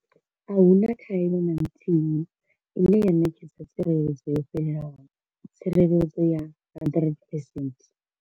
Ahuna khaelo na nthihi ine ya ṋetshedza tsireledzo yo fhelelaho tsireledzo ya 100 percent.